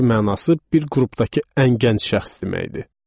Hərfi mənası bir qrupdakı ən gənc şəxs deməkdir.